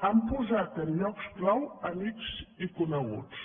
han posat en llocs clau amics i coneguts